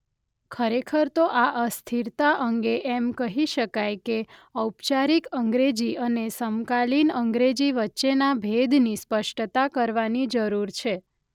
ખરેખર તો આ અસ્થિરતા અંગે એમ કહી શકાય કે ઔપચારિક અંગ્રેજી અને સમકાલિન અંગ્રેજી વચ્ચેના ભેદની સ્પષ્ટતા કરવાની જરૂર છે.